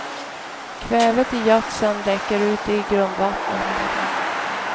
Kvävet i gödseln läcker ut i grundvattnet.